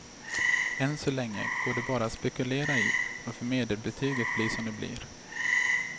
Än så länge går det bara att spekulera i varför medelbetygen blir som de blir.